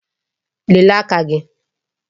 Lelee aka gị!